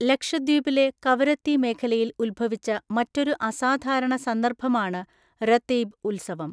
ലക്ഷദ്വീപിലെ കവരത്തി മേഖലയിൽ ഉത്ഭവിച്ച മറ്റൊരു അസാധാരണ സന്ദര്‍ഭമാണ് രതീബ് ഉത്സവം.